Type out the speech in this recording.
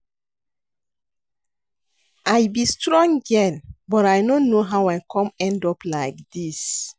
I be strong girl but I no know how I come end up like dis